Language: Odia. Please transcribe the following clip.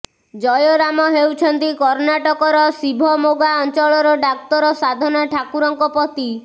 ଜୟରାମ ହେଉଛନ୍ତି କର୍ଣ୍ଣାଟକର ଶିଭମୋଗା ଅଞ୍ଚଳର ଡାକ୍ତର ସାଧନା ଠାକୁରଙ୍କ ପତି